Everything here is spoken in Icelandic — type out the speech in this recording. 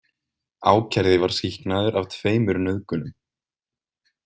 Ákærði var sýknaður af tveimur nauðgunum.